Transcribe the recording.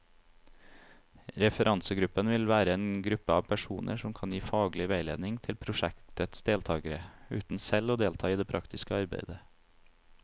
Referansegruppen vil være en gruppe av personer som kan gi faglig veiledning til prosjektets deltagere, uten selv å delta i det praktiske arbeidet.